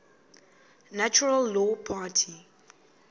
natural law party